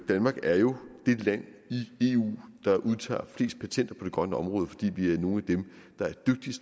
danmark er jo det land i eu der udtager flest patenter på det grønne område fordi vi er nogle af